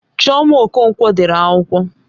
Chioma Okonkwo dere akwụkwọ.